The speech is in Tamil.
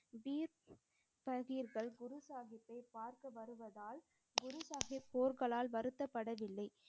குரு சாஹிப்பை பார்க்க வருவதால் குரு சாஹிப் போர்களால் வருத்தப்படவில்லை.